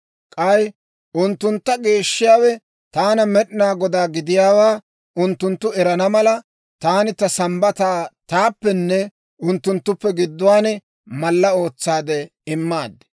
K'ay unttuntta geeshshiyaawe taana Med'inaa Godaa gidiyaawaa unttunttu erana mala, taani ta Sambbataa taappenne unttunttuppe gidduwaan mallaa ootsaade immaad.